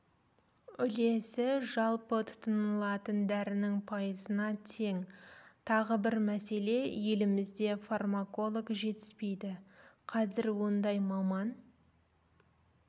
үлесі жалпы тұтынылатын дәрінің пайызына тең тағы бір мәселе елімізде фармаколог жетіспейді қазір ондай маман